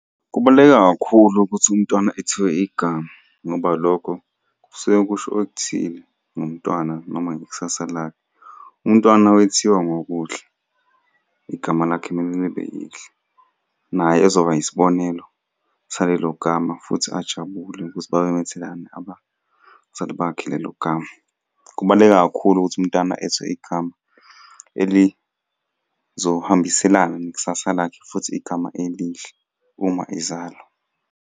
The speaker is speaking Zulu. Kubaluleke kakhulu ukuthi umntwana ethiwe igama, ngoba lokho kusuke kusho okuthile ngomntwana noma ngekusasa lakhe. Umntwana wethiwa ngokuhle, igama lakhe mele libe lihle naye. Naye ezoba isibonelo salelo gama futhi ajabule ukuthi babemethelani abazali bakhe lelo gama. Kubaluleke kakhulu ukuthi umntwana ethiwe igama elizohambiselana nekusasa lakhe futhi igama elihle uma ezalwa.